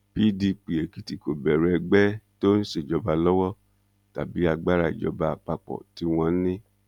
pdp èkìtì kò bẹrù ẹgbẹ tó ń ṣèjọba lọwọ tàbí agbára ìjọba àpapọ tí wọn ní